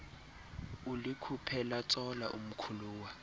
ulikhuphe latsola umkhuluwa